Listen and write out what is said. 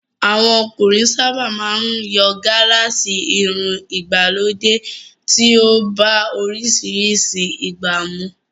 Àwọn ọkùnrin sábà máa ń yan gálààsì, irun ìgbàlódé tí ó bá oríṣiríṣi ìgbà mu